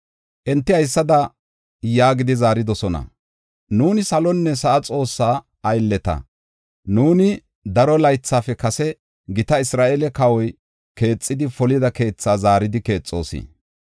Enti haysada yaagidi zaaridosona: “Nuuni salonne sa7a Xoossaa aylleta; nuuni daro laythafe kase gita Isra7eele kawoy keexidi polida keetha zaaridi keexoos.